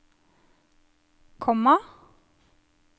komma